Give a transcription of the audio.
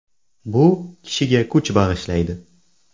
Bu kishiga kuch bag‘ishlaydi.